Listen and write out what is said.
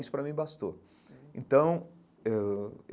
Isso, para mim, bastou então eh ãh.